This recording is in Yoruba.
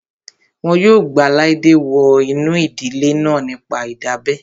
Wọn yóò gba Laide wọ inú ìdílé náà nípa ìdábẹ́